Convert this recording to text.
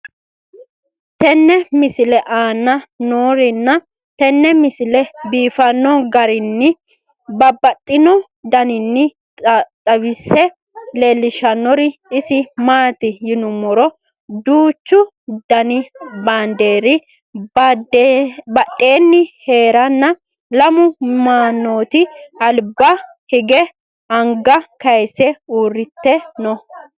tenne misile aana noorina tini misile biiffanno garinni babaxxinno daniinni xawisse leelishanori isi maati yinummoro duuchchu danni baandeeri badheenni heerenna lamu manootti alibba hige anga kayiise uuritte noo